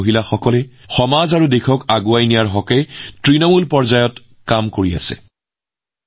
এই মহিলাসকলে তৃণমূল পৰ্যায়ৰ কামৰ জৰিয়তে সমাজ আৰু দেশক আগুৱাই লৈ গৈছে